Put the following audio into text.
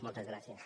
moltes gràcies